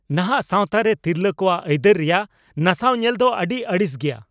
ᱱᱟᱦᱟᱜ ᱥᱟᱶᱛᱟᱨᱮ ᱛᱤᱨᱞᱟᱹ ᱠᱚᱣᱟᱜ ᱟᱹᱭᱫᱟᱹᱨ ᱨᱮᱭᱟᱜ ᱱᱟᱥᱟᱣ ᱧᱮᱞᱫᱚ ᱟᱹᱰᱤ ᱟᱹᱲᱤᱥ ᱜᱮᱭᱟ ᱾